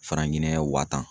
Fara ɲinɛ wa tan